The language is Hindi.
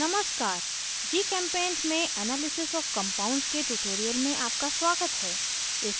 नमस्कार gchempaint में analysis of compounds के tutorial में आपका स्वागत है